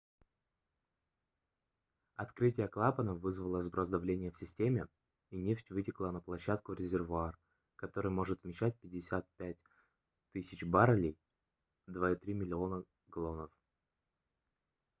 открытие клапанов вызвало сброс давления в системе и нефть вытекла на площадку в резервуар который может вмещать 55 000 баррелей 2,3 миллиона галлонов